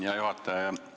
Hea juhataja!